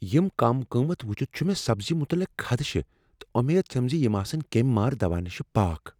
یم کم قۭمت وچھتھ چھُ مےٚ سبزی متعلق خدشہ تہٕ امید چھم ز یم آسن کیٚمۍ مار دوا نشہ پاک۔